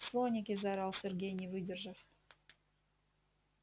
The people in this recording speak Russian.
слоники заорал сергей не выдержав